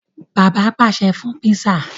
Bàbá pàṣẹ fún pizza.